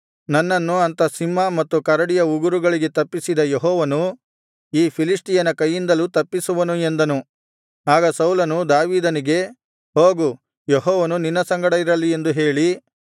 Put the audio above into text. ನನ್ನನ್ನು ಅಂಥ ಸಿಂಹದ ಮತ್ತು ಕರಡಿಯ ಉಗುರುಗಳಿಗೆ ತಪ್ಪಿಸಿದ ಯೆಹೋವನು ಈ ಫಿಲಿಷ್ಟಿಯನ ಕೈಯಿಂದಲೂ ತಪ್ಪಿಸುವನು ಎಂದನು ಆಗ ಸೌಲನು ದಾವೀದನಿಗೆ ಹೋಗು ಯೆಹೋವನು ನಿನ್ನ ಸಂಗಡ ಇರಲಿ ಎಂದು ಹೇಳಿ